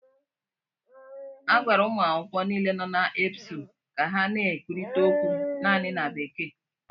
A gwara ụmụ akwụkwọ niile nọ na EBSU ka ha na-ekwurịta okwu naanị na Bekee